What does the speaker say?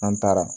An taara